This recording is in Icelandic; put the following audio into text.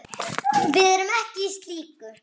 Við erum ekki í slíku.